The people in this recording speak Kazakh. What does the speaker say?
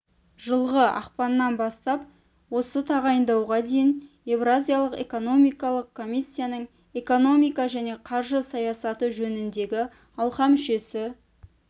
жылғы ақпаннан бастап осы тағайындауға дейін еуразиялық экономикалық комиссияның экономика және қаржы саясаты жөніндегі алқа мүшесі